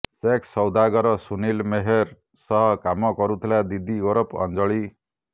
sex ସୌଦାଗର ସୁନୀଲ ମେହେର ସହ କାମ କରୁଥିଲା ଦିଦି ଓରଫ ଅଞ୍ଜଳି